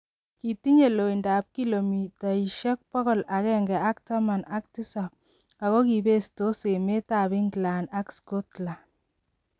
Kitinye loindoab kilomitaisiek bogol agenge ak taman ak tisab ago kibestos emet ab England ak Scotland.